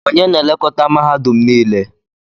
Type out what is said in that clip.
Onye na-elekọta mahadum niile?